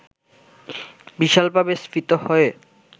বিশালভাবে স্ফীত হয়ে